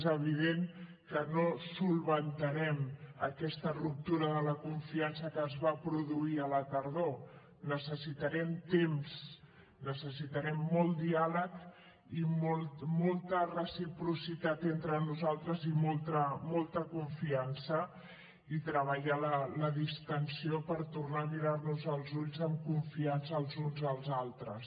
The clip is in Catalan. és evident que no solucionarem aquesta ruptura de la confiança que es va produir a la tardor necessitarem temps necessitarem molt diàleg i molta reciprocitat entre nosaltres i molta confiança i treballar la distensió per tornar a mirar nos als ulls amb confiança els uns als altres